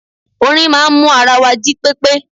Orin máa n mú ara wa jí pépé